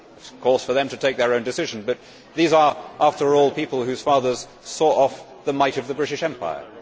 It is, of course, for them to take their own decision, but these are, after all, people whose fathers saw off the might of the British Empire.